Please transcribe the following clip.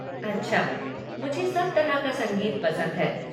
अच्छा, मुझे सब तरह का संगीत पसंद है।